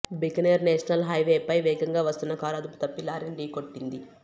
Bikaner national హైవేపై వేగంగా వస్తున్న కారు అదుపు తప్పి లారీని ఢీకొట్టింది